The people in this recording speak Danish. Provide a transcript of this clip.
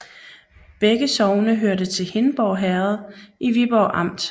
Begge sogne hørte til Hindborg Herred i Viborg Amt